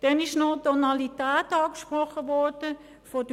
Dann ist noch von den Grünen die Tonalität angesprochen worden.